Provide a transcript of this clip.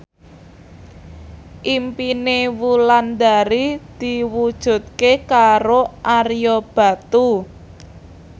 impine Wulandari diwujudke karo Ario Batu